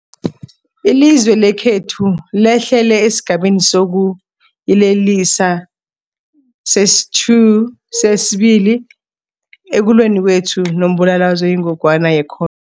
Ilizwe lekhethu lehlele esiGabeni sokuYelelisa sesi-2 ekulweni kwethu nombulalazwe oyingogwana ye-cor